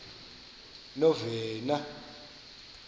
novena